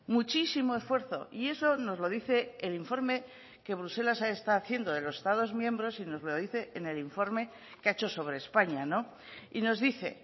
muchísimo esfuerzo y eso nos lo dice el informe que bruselas está haciendo de los estados miembros y nos lo dice en el informe que ha hecho sobre españa y nos dice